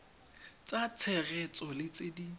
tsa tshegetso le tse di